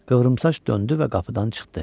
Qıvrımsaç döndü və qapıdan çıxdı.